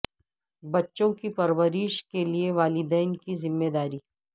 بچوں کی پرورش کے لئے والدین کی ذمہ داری